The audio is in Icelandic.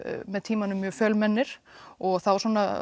með tímanum mjög fjölmennir og þá